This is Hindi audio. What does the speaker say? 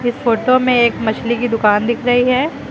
फोटो में एक मछली की दुकान दिख रही है।